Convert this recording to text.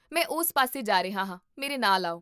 ਮੈਂ ਉਸ ਪਾਸੇ ਜਾ ਰਿਹਾ ਹਾਂ, ਮੇਰੇ ਨਾਲ ਆਓ